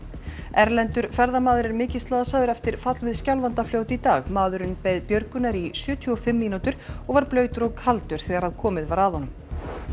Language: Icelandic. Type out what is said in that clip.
erlendur ferðamaður er mikið slasaður eftir fall við Skjálfandafljót í dag maðurinn beið björgunar í sjötíu og fimm mínútur og var blautur og kaldur þegar komið var að honum